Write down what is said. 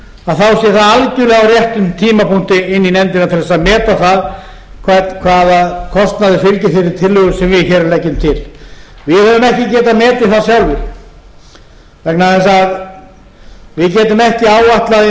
það algjörlega á réttum tímapunkti inn í nefndina til þess að meta það hvaða kostnaður fylgir þeirri tillögu sem við hér leggjum til við höfum ekki getað metið það sjálfir vegna þess að við getum ekki áætlað